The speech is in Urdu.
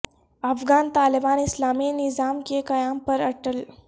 افغان طالبان اسلامی نظام کے قیام پر اٹل